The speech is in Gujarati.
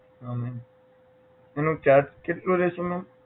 હા મેમ એનો charge કેટલો રહેશે મેમ